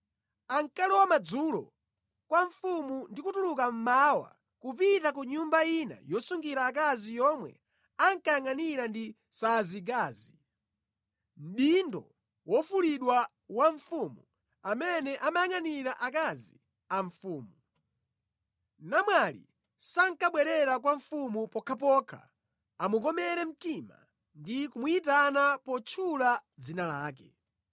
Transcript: Ankalowa madzulo kwa mfumu ndi kutuluka mmawa kupita ku nyumba ina yosungira akazi yomwe ankayangʼanira ndi Saasigazi, mdindo wofulidwa wa mfumu amene amayangʼanira akazi a mfumu. Namwali sankabwerera kwa mfumu pokhapokha amukomere mtima ndi kumuyitana potchula dzina lake.